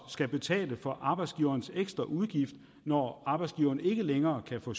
skal betale for arbejdsgivernes ekstra udgift når arbejdsgiverne ikke længere kan få